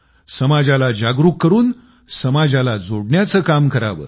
समाजाला जागरूक करून समाजाला जोडण्याचं काम करावं